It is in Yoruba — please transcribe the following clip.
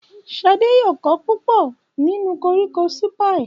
Ṣadé yóò kọ́ púpọ̀ nípa koríko sípíẹ̀.